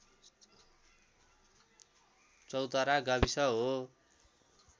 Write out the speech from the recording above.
चौतारा गाविस हो